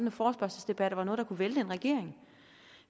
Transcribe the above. at forespørgselsdebatter var noget der kunne vælte en regering